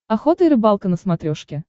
охота и рыбалка на смотрешке